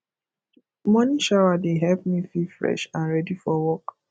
morning shower dey help me feel fresh and ready for work